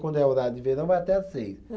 Quando é horário de verão vai até as seis